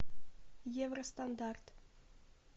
евростандарт